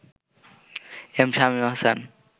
M Shamim Ahsan